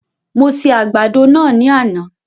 Mo se àgbàdo náà ní àná